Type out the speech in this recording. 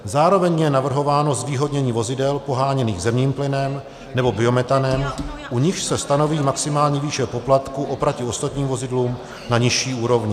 Zároveň je navrhováno zvýhodnění vozidel poháněných zemním plynem nebo biometanem, u nichž se stanoví maximální výše poplatku oproti ostatním vozidlům na nižší úrovni.